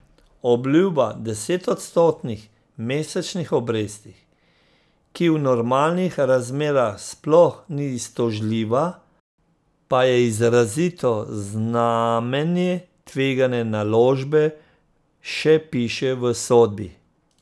Obljuba desetodstotnih mesečnih obresti, ki v normalnih razmerah sploh ni iztožljiva, pa je izrazito znamenje tvegane naložbe, še piše v sodbi.